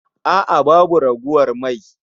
A'a babu ragowar mai